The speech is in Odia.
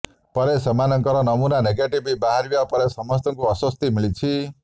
ପରେ ସେମାନଙ୍କର ନମୁନା ନେଗେଟିଭ ବାହାରିବା ପଡ଼େ ସମସ୍ତଙ୍କୁ ଆଶ୍ବସ୍ତି ମିଳିଛି